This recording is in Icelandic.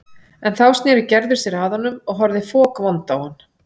En þá sneri Gerður sér að honum og horfði fokvond á hann.